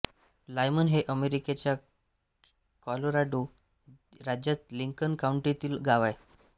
Lyman हे अमेरिकेच्या Colorado राज्यातील लिंकन काउंटीतील गाव आहे